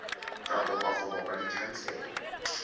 ka kopa go bopa dikhansele